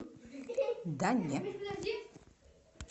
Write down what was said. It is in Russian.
да не